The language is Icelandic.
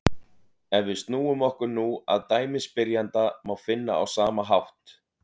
Ef við snúum okkur nú að dæmi spyrjanda má finna á sama hátt: